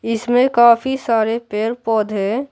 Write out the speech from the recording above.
इसमें काफी सारे पेड़ पौधे--